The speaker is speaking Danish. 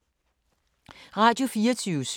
Radio24syv